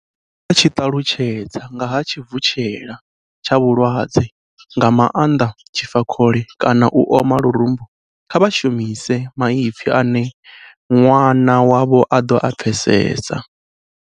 Musi vha tshi ṱalutshedza nga ha tshivutshela tsha vhulwadze nga maanḓa tshifakhole kana u oma lurumbu kha vha shumise maipfi ane ṅwana wavho a ḓo a pfesesa.